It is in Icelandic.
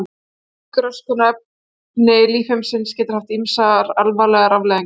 Slík röskun á efni lífheimsins getur haft ýmsar alvarlegar afleiðingar.